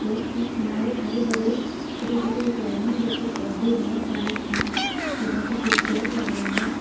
Road के किनारे हरे भरे छोटे छोटे एक लाइनिंग जैसे पौधे बहुत सारे हैं जो बहुत ही खूबसूरत हैं।